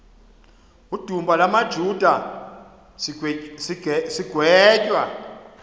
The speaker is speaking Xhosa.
la majuda sigwetywa